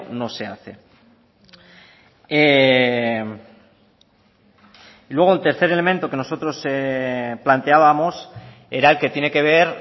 no se hace y luego el tercer elemento que nosotros planteábamos era el que tiene que ver